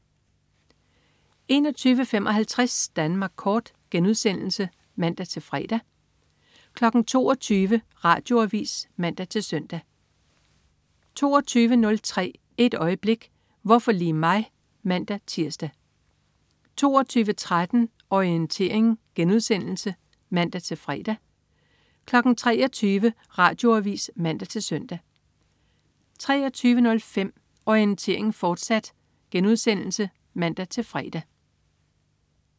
21.55 Danmark Kort* (man-fre) 22.00 Radioavis (man-søn) 22.03 Et øjeblik: Hvorfor lige mig? (man-tirs) 22.13 Orientering* (man-fre) 23.00 Radioavis (man-søn) 23.05 Orientering, fortsat* (man-fre)